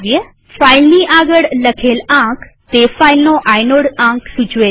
ફાઈલની આગળ લખેલ આંક તે ફાઈલનો આઇનોડ આંક સૂચવે છે